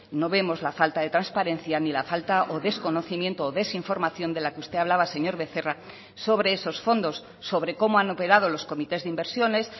no vemos la falta de transparencia ni la falta o desconocimiento o desinformación de la que usted hablaba señor becerra sobre esos fondos sobre cómo han operado los comités de inversiones